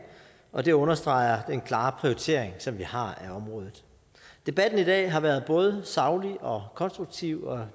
og det understreger den klare prioritering som vi har af området debatten i dag har været både saglig og konstruktiv og